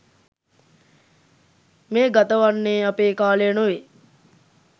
මේ ගතවන්නේ අපේ කාලය නොවේ.